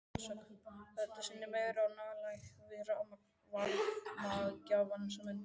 Þetta sýnir meiri nálægð við varmagjafann sem undir er.